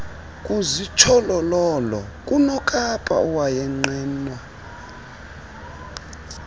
kuzitsholololo kunokapa owayenqenwa